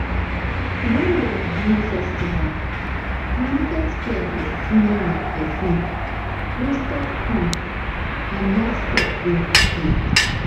wen dem do festival the market square dey smell like perfume roasted corn and livestock wey happy